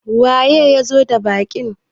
waye ya zo da baƙin?